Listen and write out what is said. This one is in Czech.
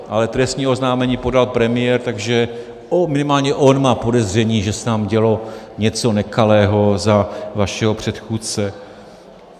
Ale trestní oznámení podal premiér, takže minimální on má podezření, že se tam dělo něco nekalého za vašeho předchůdce.